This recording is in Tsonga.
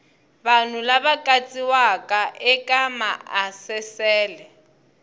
vanhu lava katsiwaka eka maasesele